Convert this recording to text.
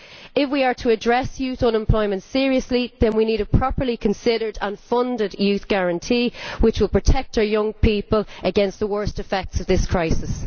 If we are to address youth unemployment seriously, then we need a properly considered and funded Youth Guarantee which will protect our young people against the worst effects of this crisis.